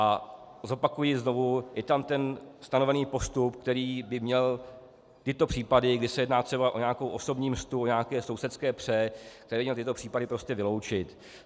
A zopakuji znovu, je tam ten stanovený postup, který by měl tyto případy, kdy se jedná třeba o nějakou osobní mstu, o nějaké sousedské pře, který by měl tyto případy prostě vyloučit.